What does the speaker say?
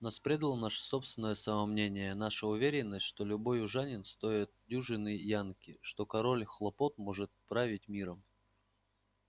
нас предало наше собственное самомнение наша уверенность что любой южанин стоит дюжины янки что король хлопок может править миром